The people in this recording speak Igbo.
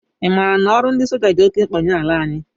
I maara na ọrụ ndị soja dị oké mkpa nye ala anyị?